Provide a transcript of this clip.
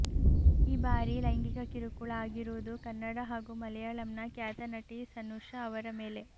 ಈ ಬಾರಿ ಲೈಂಗಿಕ ಕಿರುಕುಳ ಆಗಿರುವುದು ಕನ್ನಡ ಹಾಗೂ ಮಲೆಯಾಳಂನ ಖ್ಯಾತ ನಟಿ ಸನೂಷಾ ಅವರ ಮೇಲೆ